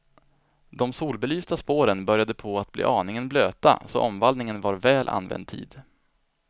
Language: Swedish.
De solbelysta spåren började på att bli aningen blöta, så omvallningen var väl använd tid.